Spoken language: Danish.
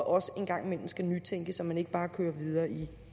også en gang imellem skal nytænke så man ikke bare kører videre i